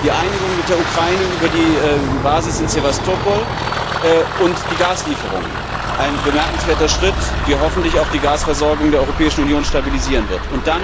Die Einigung mit der Ukraine über die Basis in Sewastopol und die Gaslieferungen ein bemerkenswerter Schritt, der hoffentlich auch die Gasversorgung der Europäischen Union stabilisieren wird.